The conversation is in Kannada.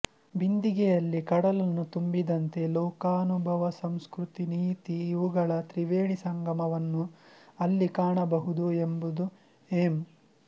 ಬಿಂದಿಗೆಯಲ್ಲಿ ಕಡಲನ್ನು ತುಂಬಿದಂತೆ ಲೋಕಾನುಭವಸಂಸ್ಕೃತಿ ನೀತಿಇವುಗಳ ತ್ರಿವೇಣಿಸಂಗಮವನ್ನು ಅಲ್ಲಿ ಕಾಣಬಹುದು ಎಂಬುದು ಎಂ